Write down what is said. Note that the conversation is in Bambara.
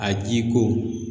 A jiko